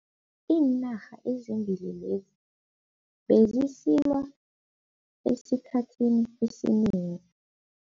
Iinarha ezimbili lezi bezisilwa esikhathini esinengi.